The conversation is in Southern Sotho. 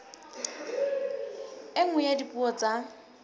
e nngwe ya dipuo tsa